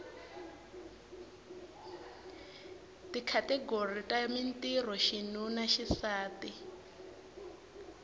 tikhategori ta mintirho xinuna xisati